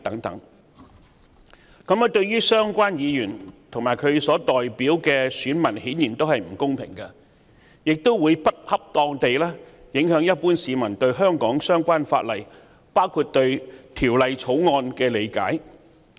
這對相關議員及其代表的選民顯然並不公平，亦會不恰當地影響一般市民對香港相關法例及《條例草案》的理解。